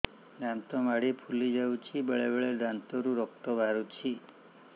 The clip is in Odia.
ଦାନ୍ତ ମାଢ଼ି ଫୁଲି ଯାଉଛି ବେଳେବେଳେ ଦାନ୍ତରୁ ରକ୍ତ ବାହାରୁଛି